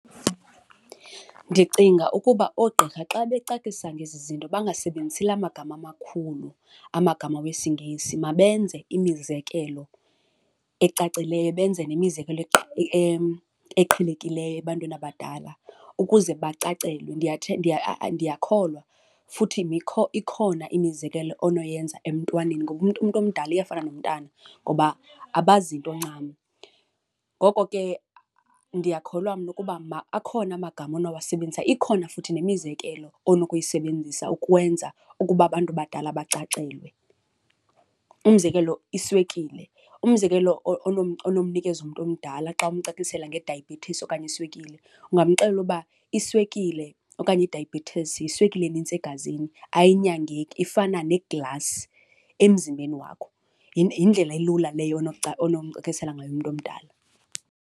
Ndicinga ukuba oogqirha xa becacisa ngezi zinto bangasebenzisi la magama makhulu, amagama wesiNgesi, mabenze imizekelo ecacileyo benze nemizekelo eqhelekileyo ebantwini abadala ukuze bacacelwe. Ndiyakholwa futhi ikhona imizekelo onoyenza emntwaneni ngoba umntu, umntu omdala uyafana nomntana ngoba abazi nto ncam. Ngoko ke ndiyakholwa mna ukuba akhona amagama onowasebenzisa, ikhona futhi nemizekelo onokuyisebenzisa ukwenza ukuba abantu abadala bacacelwe. Umzekelo, iswekile. Umzekelo onomnikeza umntu omdala xa umcacisela ngedayibhethisi okanye iswekile ungamxelela uba iswekile okanye idayabhethisi yiswekile enintsi egazini, ayinyangeki ifana neglasi emzimbeni wakho. Yindlela elula leyo onomcacisela ngayo umntu omdala.